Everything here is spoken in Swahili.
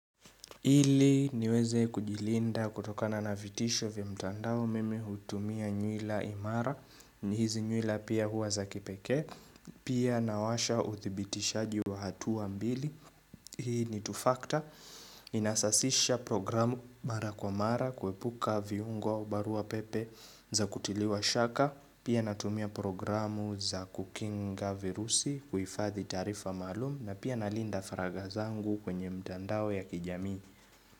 Hili niweze kujilinda kutokana na vitisho vya mtandao mimi hutumia nyuila imara ni hizi nyuila pia huwa za kipeke Pia nawasha uthibitishaji wa hatuwa mbili Hii ni two factor Inasasisha programu mara kwa mara kuepuka viungwa barua pepe za kutiliwa shaka Pia natumia programu za kukinga virusi kuifathi tarifa malum na pia nalinda faraga zangu kwenye mtandawe ya kijami.